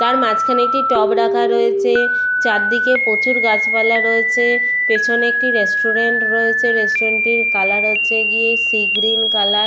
তার মাঝখানে একটি টব রাখা রয়েছে চারদিকে প্রচুর গাছপালা রয়েছে পেছনে একটি রেস্টুরেন্ট রয়েছে রেস্টুরেন্ট -টির কালার হচ্ছে গিয়ে সি গ্রিন কালার ।